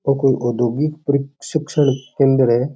और कोई अधोगिक प्रशिक्षण केंद्र है।